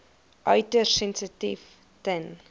uiters sensitief ten